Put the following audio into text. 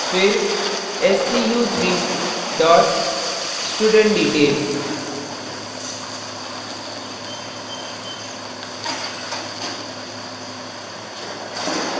फिर stu3 dot studentdetail